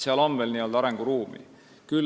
Seal on veel arenguruumi.